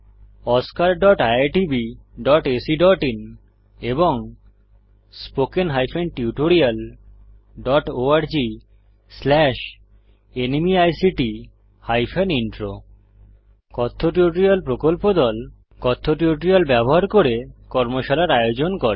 oscariitbacআইএন এবং spoken tutorialorgnmeict intro কথ্য tutorial প্রকল্প দল কথ্য টিউটোরিয়াল ব্যবহার করে কর্মশালার আয়োজন করে